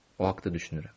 O haqda düşünürəm.